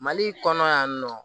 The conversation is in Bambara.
Mali kɔnɔ yan nɔ